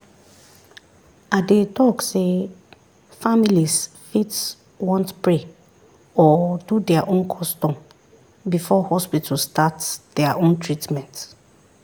i dey talk sey families fit want pray or do their own custom before hospital start their own teatment